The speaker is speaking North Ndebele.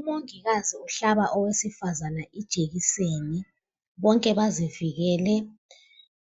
Umongikazi uhlaba owesifazane ijekiseni, bonke bazivikele